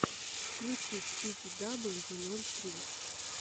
включи спиди дабл ю ноль три